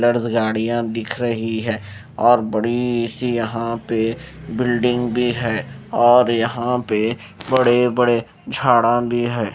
गाड़ियां दिख रही है और बड़ी सी यहां पे बिल्डिंग भी है और यहां पे बड़े-बड़े झाड़ा भी है।